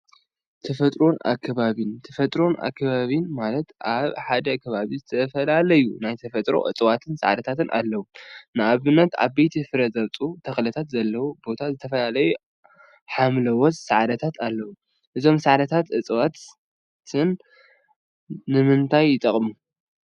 ተፈጥሮን አከባቢን ተፈጥሮን አከባቢን ማለት አብ ሓደ ከባቢ ዝተፈላለዩ ናይ ተፈጥሮ እፅዋትን ሳዕሪታትን አለወ፡፡ ንአብነት ዓበይትን ፍረ ዘውፅኡን ተክልታት ዘለዎ ቦታ ዝተፈላለዩ ሓምለዎት ሳዕሪታት አለውዎ፡፡ እዞም ሳዕሪታትን እፅዋትን ንምንታይ ይጠቅሙ?